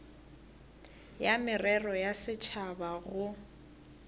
ya merero ya setšhaba go